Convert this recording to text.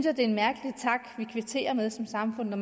er en mærkelig tak vi kvitterer med som samfund når